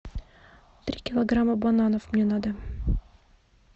три килограмма бананов мне надо